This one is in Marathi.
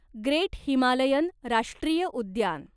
ग्रेट हिमालयन राष्ट्रीय उद्यान